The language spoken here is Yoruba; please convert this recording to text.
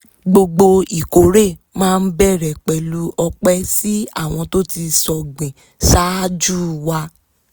gbogbo ìkórè máa ń bẹ̀rẹ̀ pẹ̀lú ọpẹ si àwọn tó ti sọ̀gbìn ṣáájú wa